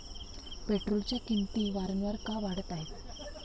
पेट्रोलच्या किंमती वारंवार का वाढत आहेत?